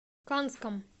канском